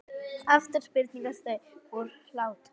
Aftur springa þau úr hlátri.